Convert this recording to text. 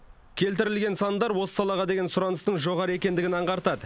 келтірілген сандар осы салаға деген сұраныстың жоғары екендігін аңғартады